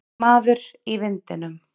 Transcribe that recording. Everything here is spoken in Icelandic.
Maður í vindinum.